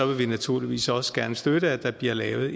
vi naturligvis også gerne støtte at der bliver lavet